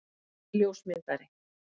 Hann er ljósmyndari.